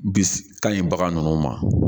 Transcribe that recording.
Bi kan in bagan ninnu ma